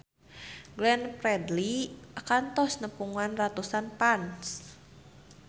Glenn Fredly kantos nepungan ratusan fans